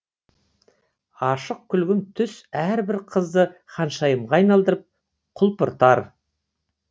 ашық күлгін түс әрбір қызды ханшайымға айналдырып құлпыртар